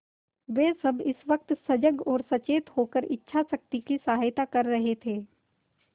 वे सब इस वक्त सजग और सचेत होकर इच्छाशक्ति की सहायता कर रहे थे